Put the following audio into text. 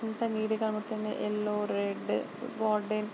ఎంత నీట్ గ కనబతుంది. Yellow red --